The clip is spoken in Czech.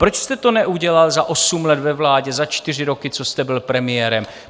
Proč jste to neudělal za osm let ve vládě, za čtyři roky, co jste byl premiérem?